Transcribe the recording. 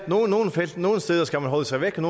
nogle steder skal man holde sig væk